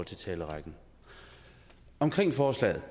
talerrækken om forslaget